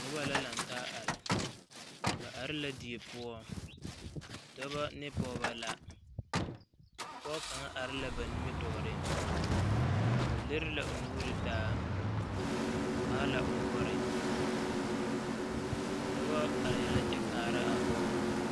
Nobɔl la laŋ taa are ba are la die poɔ dɔbɔ ne pɔgebɔ la pɔge kaŋ are la ba nimitɔɔreŋ o liri la o nuuri taa o haa la o noɔre a dɔbɔ arɛɛ la kyɛ kaara a pɔge.